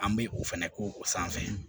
An bɛ o fɛnɛ k'o o sanfɛ